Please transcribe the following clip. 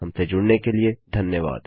हमसे जुड़ने के लिए धन्यवाद